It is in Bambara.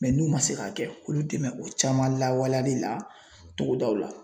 n'u man se k'a kɛ olu dɛmɛn o caman lawaleyali la togodaw la.